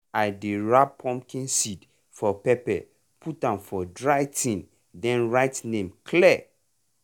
i dey wrap pumpkin seed for paper put am for dry tin then write name clear.